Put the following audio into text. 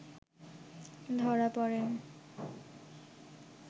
ধরা প’ড়ে